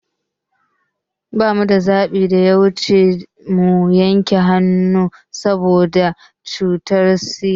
Ba mu da zaɓin da ya wuci mu yanke hannun sa boda cutar ciwon sigan